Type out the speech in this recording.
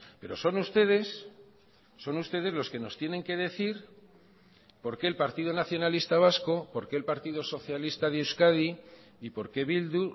pero son ustedes son ustedes los que nos tienen que decir por qué el partido nacionalista vasco por qué el partido socialista de euskadi y por qué bildu